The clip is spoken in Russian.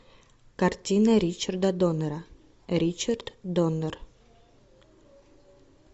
картина ричарда доннера ричард доннер